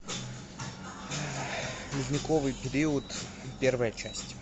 ледниковый период первая часть